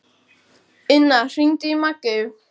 Inna, hringdu í Maggeyju.